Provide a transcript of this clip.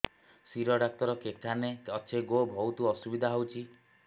ଶିର doctor କେଖାନେ ଅଛେ ଗୋ ବହୁତ୍ ଅସୁବିଧା ହଉଚି